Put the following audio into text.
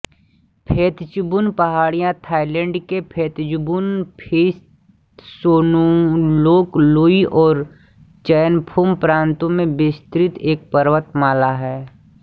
Phetchabun पहाड़ियाँ Thailand के Phetchabun Phitsanulok Loei और चइयफूम प्रान्तों में विस्तृत एक पर्वतमाला है